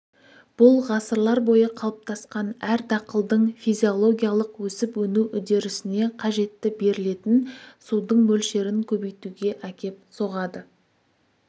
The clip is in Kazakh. бұл ғасырлар бойы қалыптасқан әр дақылдың физиологиялық өсіп-өну үдерісіне қажетті берілетін судың мөлшерін көбейтуге әкеп соғады